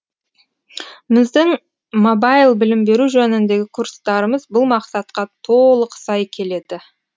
біздің мобайл білім беру жөніндегі курстарымыз бұл мақсатқа толық сай келеді